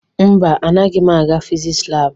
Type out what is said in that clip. Mba, anaghị m aga fiziks laabụ.